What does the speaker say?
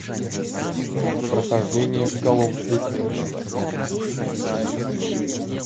прохождение кол оф дьюти